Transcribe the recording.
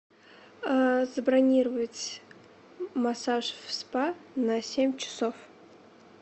э забронировать массаж в спа на семь часов